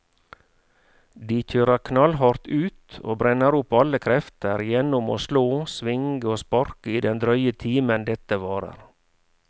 De kjører knallhardt ut og brenner opp alle krefter gjennom å slå, svinge og sparke i den drøye timen dette varer.